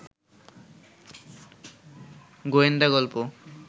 গোয়েন্দা গল্প